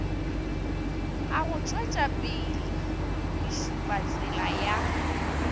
a go tšwetšapele mešupatsela ya